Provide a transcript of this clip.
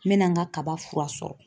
N mɛna n ka kaba fura sɔrɔ.